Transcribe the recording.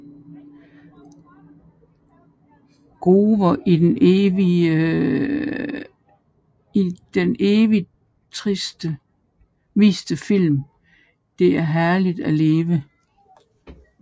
Gower i den evigt viste film Det er herligt at leve